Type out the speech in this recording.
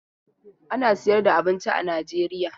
Ana sayar da abinci a Najeriya.